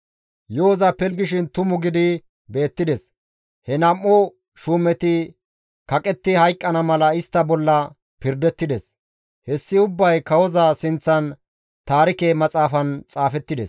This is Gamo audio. Yo7oza pilggishin tumu gidi beettides; he nam7u shuumeti kaqetti hayqqana mala istta bolla pirdettides; hessi ubbay kawoza sinththan taarike maxaafan xaafettides.